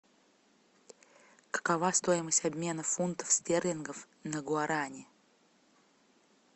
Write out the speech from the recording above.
какова стоимость обмена фунтов стерлингов на гуарани